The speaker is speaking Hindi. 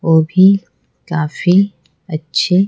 वो भी काफी अच्छे--